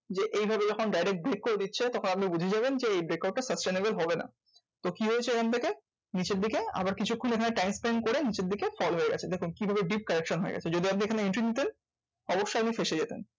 যে এভাবে যখন direct break করে দিচ্ছে তখন আপনি বুঝে যাবেন যে, এই break out টা sustainable হবে না। তো কি হয়েছে এখানথেকে? নিচের দিকে আবার কিছু ক্ষণ ওখানে time spend করে নিচের দিকে fall হয়ে গেছে। দেখুন কি ভাবে deep correction হয়ে গেছে। যদি আপনি এখানে entry নিতেন অবশ্যই আপনি ফেঁসে যেতেন।